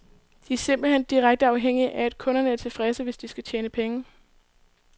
De er simpelt hen direkte afhængige af, at kunderne er tilfredse, hvis de skal tjene penge.